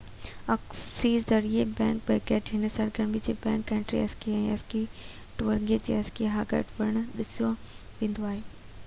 ski ذريعي backpacking هن سرگرمي کي backcountry ski ski touring يا اسڪي هائيڪنگ پڻ سڏيو ويندو آهي